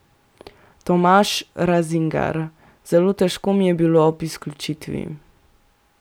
Tomaž Razingar: "Zelo težko mi je bilo ob izključitvi.